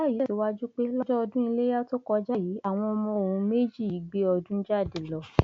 ìyá yìí tẹsíwájú pé lọjọ ọdún iléyà tó kọjá yìí àwọn ọmọ òun méjì yìí gbé ọdún jáde lọ